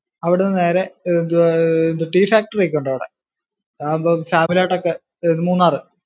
അവിടുന്ന് നേരെ tea factory ഒക്കെ ഉണ്ട് അവിടെ. അതാവുമ്പും family ആയിട്ടൊക്കെ ആഹ് മൂന്നാർ.